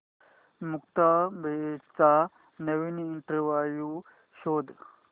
मुक्ता बर्वेचा नवीन इंटरव्ह्यु शोध